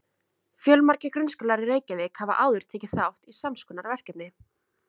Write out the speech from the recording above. Fjölmargir grunnskólar í Reykjavík hafa áður tekið þátt í sams konar verkefni.